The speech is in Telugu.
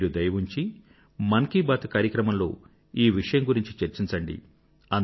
మీరు దయ ఉంచి మన్ కీ బాత్ కార్యక్రమంలో ఈ విషయం గురించి చర్చించండి